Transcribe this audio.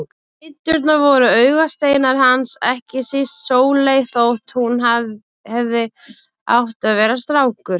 Dæturnar voru augasteinar hans, ekki síst Sóley þótt hún hefði átt að vera strákur.